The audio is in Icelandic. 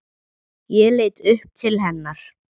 Ég leit upp til hennar.